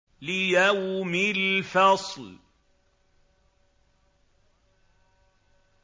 لِيَوْمِ الْفَصْلِ